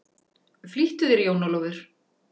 Flýttu þér jón Ólafur!